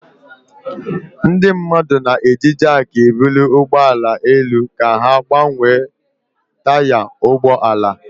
Ndị mmadụ na-eji jakị ebuli ụgbọ ala elu ka ha gbanwee taya ụgbọ ala.